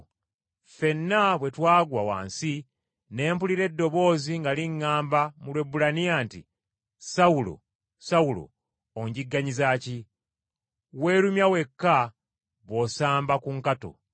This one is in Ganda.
Ffenna bwe twagwa wansi, ne mpulira eddoboozi nga liŋŋamba mu Lwebbulaniya nti, ‘Sawulo, Sawulo, onjigganyiza ki? Weerumya wekka bw’osamba ku nkato.’